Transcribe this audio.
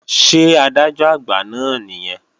Ṣé Adájọ́-Àgbà náà nìyẹn?